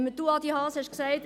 Sie, Adi Haas, haben gesagt: